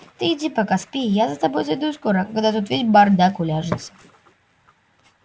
ты иди пока спи я за тобой зайду скоро когда тут весь бардак уляжется